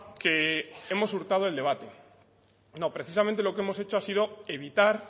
que hemos hurtado el debate no precisamente lo que hemos hecho ha sido evitar